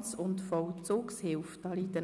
ist um CHF 2,84 Millionen zu erhöhen.